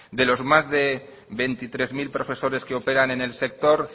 de los más de veintitrés mil profesores que operan en el sector